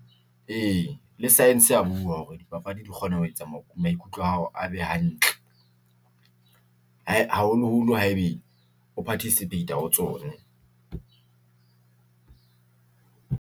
E, le saense ya bua hore dipapadi di kgona ho etsa maikutlo a hao, a be hantle haholo-holo haebe o phathisipheita ho tsone .